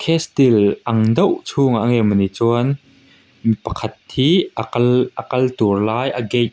castle ang deuh chhungah nge mawni chuan mipakhat hi a kal a kal tur lai a gate --